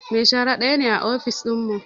Mai shara daya ne a ofis dinmu